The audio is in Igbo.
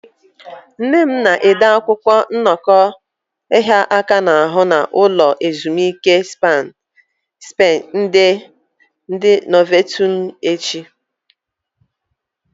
Nne m na-ede akwụkwọ nnọkọ ịhịa aka n'ahụ na ulo ezimuike spá ndi Novotelu echi.